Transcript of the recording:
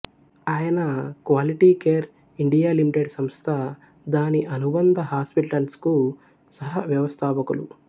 ఆయన quality care India limited సంస్థ దాని అనుబంధ హాస్పటల్స్ కు సహ వ్యవస్థాపకులు